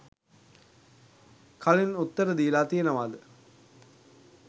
කලින් උත්තර දීලා තියෙනවද?